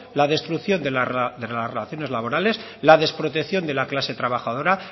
la destrucción de las relaciones laborales la desprotección de la clase trabajadora